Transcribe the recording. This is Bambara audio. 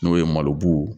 N'o ye malobu